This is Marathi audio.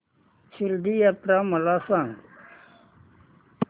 शिर्डी यात्रा मला सांग